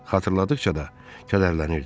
Xatırladıqca da kədərlənirdi.